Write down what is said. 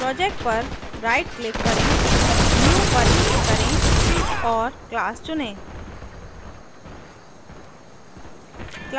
project पर right click करें new पर click करें और class चुनें